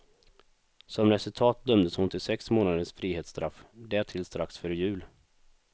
Som resultat dömdes hon till sex månaders frihetsstraff, därtill strax före jul.